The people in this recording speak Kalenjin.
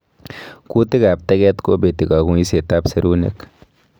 Kutiik ab tegeet kobetii kang'uiset ab serunek